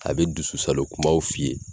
A be dusu salo kumaw f'i ye